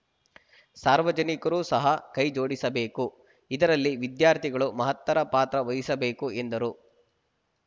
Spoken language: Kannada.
ಸಾರ್ವಜನಿಕರೂ ಸಹ ಕೈ ಜೋಡಿಸಬೇಕು ಇದರಲ್ಲಿ ವಿದ್ಯಾರ್ಥಿಗಳು ಮಹತ್ತರ ಪಾತ್ರ ವಹಿಸಬೇಕು ಎಂದರು